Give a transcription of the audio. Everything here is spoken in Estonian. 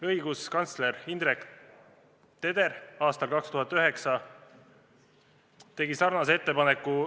Õiguskantsler Indrek Teder tegi aastal 2009 samasuguse ettepaneku.